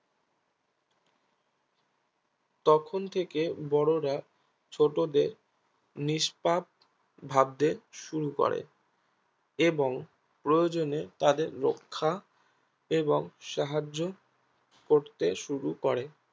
তখন থেকে বড়োরা ছোটদের নিষ্পাপ ভাবতে শুরু করে এবং প্রয়োজন এ তাদের রক্ষা এবং সাহায্য করতে শুরু করে